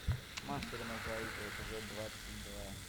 мастер и маргарита эпизод двадцать два